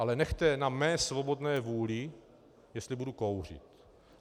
Ale nechte na mé svobodné vůli, jestli budu kouřit.